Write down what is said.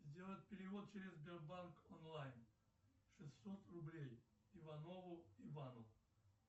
сделать перевод через сбербанк онлайн шестьсот рублей иванову ивану